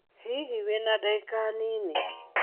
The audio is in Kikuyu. Hihi wĩna ndagĩka nini